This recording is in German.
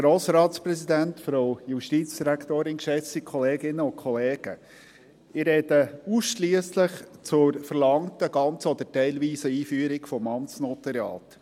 Ich spreche ausschliesslich zur verlangten ganzen oder teilweisen Einführung des Amtsnotariats.